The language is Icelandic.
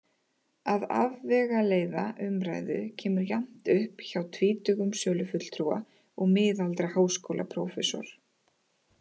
Að afvegaleiða umræðu kemur jafnt upp hjá tvítugum sölufulltrúa og miðaldra háskólaprófessor.